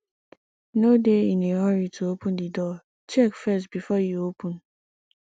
no dey in a hurry to open di door check first before you open